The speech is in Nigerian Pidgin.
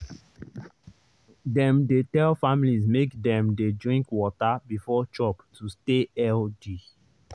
dem dey tell families make dem dey drink water before chop to stay healthy.